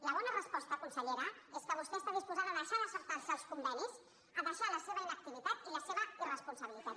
la bona resposta consellera és que vostè està disposada a deixar de saltarse els convenis a deixar la seva inactivitat i la seva irresponsabilitat